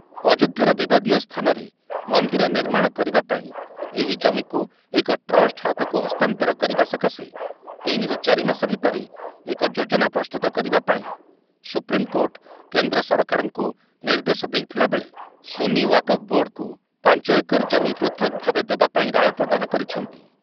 ଅଯୋଧ୍ୟାର ବିବାଦୀୟ ସ୍ଥାନରେ ମନ୍ଦିର ନିର୍ମାଣ କରିବାପାଇଁ ଏହି ଜମିକୁ ଏକ ଟ୍ରଷ୍ଟ ହାତକୁ ହସ୍ତାନ୍ତର କରିବା ସକାଶେ ତିନି ରୁ ଚାରି ମାସ ଭିତରେ ଏକ ଯୋଜନା ପ୍ରସ୍ତୁତ କରିବାପାଇଁ ସୁପ୍ରିମ୍‌କୋର୍ଟ କେନ୍ଦ୍ର ସରକାରଙ୍କୁ ନିର୍ଦ୍ଦେଶ ଦେଇଥୁଲାବେଳେ ସୁନି ୱାକଫ୍ ବୋର୍ଡ଼କୁ ପାଞ୍ଚ ଏକର ଜମି ପୃଥକ୍ ଭାବେ ଦେବାପାଇଁ ରାୟ ପ୍ରଦାନ କରିଛନ୍ତି ।